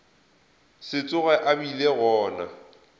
se tsoge a bile gona